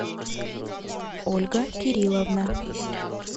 ольга кирилловна